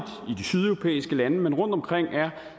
de sydeuropæiske lande men også rundtomkring